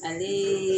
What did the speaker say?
Ani